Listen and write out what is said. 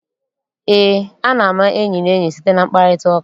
Eé, a na-ama enyi na enyi site na mkparịtaụka.